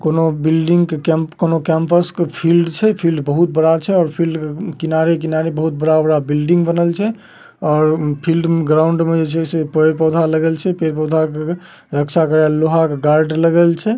कोनों बिल्डिंग के कैम्प कोनों कॅम्पस के फील्ड छै। फील्ड बहुत बड़ा छै और फील्ड के किनारे-किनारे बहुत बड़ा-बड़ा बिल्डिंग बनल छै। और फील्ड ग्राउन्ड मे जे छै पेड़-पौधा लगल छै। पेड़-पौधा के रक्षा करेल लोहा के गार्ड लगल छै।